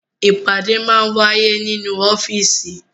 Ìpàdé máa ń wáyé nínú ọ́fíísì.